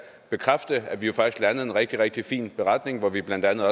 bekræfte at vi faktisk landede en rigtig rigtig fin beretning hvor vi blandt andet